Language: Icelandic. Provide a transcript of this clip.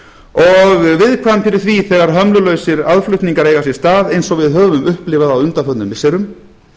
og viðkvæm fyrir því þegar hömlulausir aðflutningar eiga sér stað eins og við höfum upplifað á undanförnum missirum